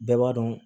Bɛɛ b'a dɔn